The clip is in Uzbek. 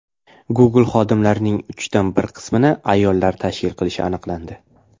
Google xodimlarining uchdan bir qismini ayollar tashkil qilishi aniqlandi.